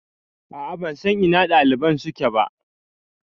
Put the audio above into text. A'a ban san ina ɗaliban suke ba